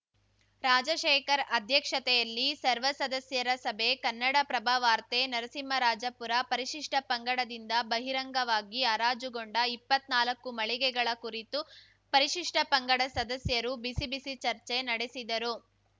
ರಾಜಶೇಖರ್‌ ಅಧ್ಯಕ್ಷತೆಯಲ್ಲಿ ಸರ್ವ ಸದಸ್ಯರ ಸಭೆ ಕನ್ನಡಪ್ರಭ ವಾರ್ತೆ ನರಸಿಂಹರಾಜಪುರ ಪರಿಷಿಷ್ಠ ಪಂಗಡದಿಂದ ಬಹಿರಂಗವಾಗಿ ಹರಾಜುಗೊಂಡ ಇಪ್ಪತ್ನಾಲಕ್ಕು ಮಳಿಗೆಗಳ ಕುರಿತು ಪರಿಷಿಷ್ಠ ಪಂಗಡ ಸದಸ್ಯರು ಬಿಸಿಬಿಸಿ ಚರ್ಚೆ ನಡೆಸಿದರು